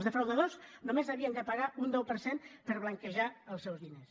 els defraudadors només havien de pagar un deu per cent per blanquejar els seus diners